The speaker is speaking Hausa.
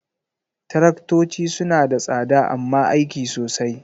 Taraktoci suna da tsada amma aiki sosai.